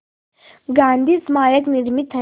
गांधी स्मारक निर्मित है